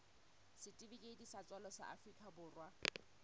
setifikeiti sa tswalo sa afrika